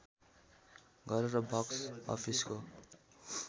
गरेर बक्स अफिसको